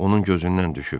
Onun gözündən düşüb.